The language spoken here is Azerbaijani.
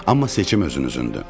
Amma seçim özünüzündür.